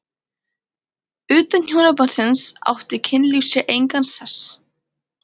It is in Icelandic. Utan hjónabandsins átti kynlíf sér engan sess.